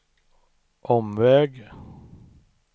omväg